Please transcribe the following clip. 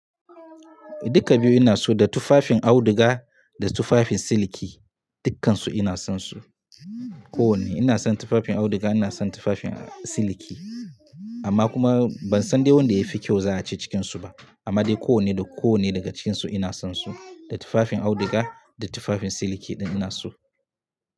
Duka biyu ina so da tufafin auduga da tufafin siliki, dukkansu ina son su. Ko wane ina son tufafin auduga ina son tufafin siliki amma kuma ban san dai wanda yafi kyau za a ci cikin su ba amma dai ko wane da ko wane daga cikin su ina son su. Da tufafin auduga da tufafin siliki ina so.